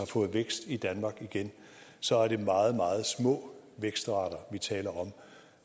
fået vækst i danmark igen så er det meget meget små vækstrater vi taler om